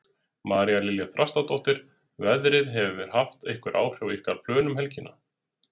María Lilja Þrastardóttir: Veðrið, hefur það haft einhver áhrif á ykkar plön um helgina?